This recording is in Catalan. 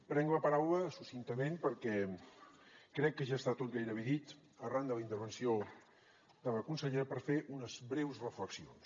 prenc la paraula succintament perquè crec que ja està tot gairebé dit arran de la intervenció de la consellera per fer unes breus reflexions